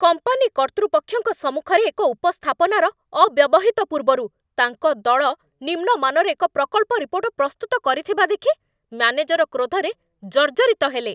Company କର୍ତ୍ତୃପକ୍ଷଙ୍କ ସମ୍ମୁଖରେ ଏକ ଉପସ୍ଥାପନାର ଅବ୍ୟବହିତ ପୂର୍ବରୁ, ତାଙ୍କ ଦଳ ନିମ୍ନ ମାନର ଏକ ପ୍ରକଳ୍ପ ରିପୋର୍ଟ ପ୍ରସ୍ତୁତ କରିଥିବା ଦେଖି ମ୍ୟାନେଜର କ୍ରୋଧରେ ଜର୍ଜରିତ ହେଲେ।